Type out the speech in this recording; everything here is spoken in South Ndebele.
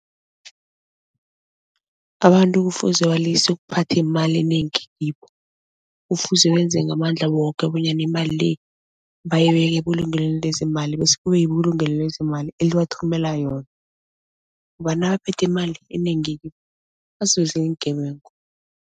Abantu kufuze balise ukuphatha imali enengi kibo. Kufuze benze ngamandla woke bonyana imali le bayibeka ebulungelweni lezeemali bese kube yibulungele lezeemali elibathumela yona ngoba nabaphethe imali enengi iingebengu.